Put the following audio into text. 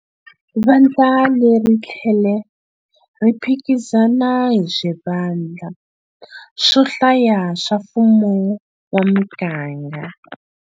Vandla leri ri tlhele ri phikizana hi swivandla swo hlaya swa mfumo wa miganga.